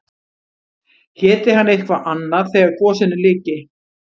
Héti hann eitthvað annað þegar gosinu lyki?